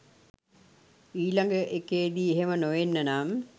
ඊළඟ එකේදි එහෙම නොවෙන්න නම්.